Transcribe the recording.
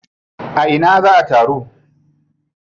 A ina za a taru?